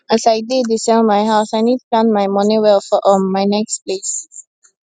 as i dey dey sell my house i need plan my money well for um my next place